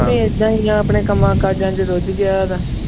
ਏਦਾਂ ਹੀ ਆਂ ਆਪਣੇ ਕੰਮਾਂ ਕਾਜਾਂ ਚ ਰੁੱਝ ਗਿਆ